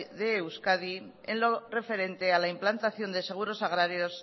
de euskadi en lo referente a la implantación de seguros agrarios